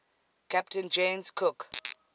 captain james cook